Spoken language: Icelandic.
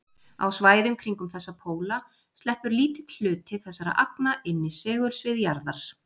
Á svæðum kringum þessa póla sleppur lítill hluti þessara agna inn í segulsvið jarðar.